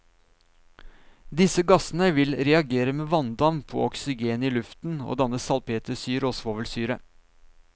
Disse gassene vil reagere med vanndamp og oksygenet i luften og danne salpetersyre og svovelsyre.